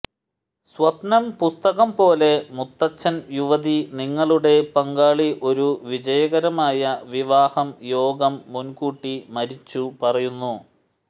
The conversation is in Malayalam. സ്വപ്നം പുസ്തകം പോലെ മുത്തച്ഛൻ യുവതി നിങ്ങളുടെ പങ്കാളി ഒരു വിജയകരമായ വിവാഹം യോഗം മുൻകൂട്ടി മരിച്ചു പറയുന്നു